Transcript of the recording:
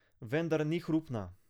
Vendar ni hrupna.